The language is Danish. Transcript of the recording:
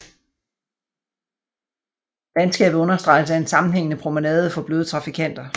Landskabet understreges af en sammenhængende promenade for bløde trafikanter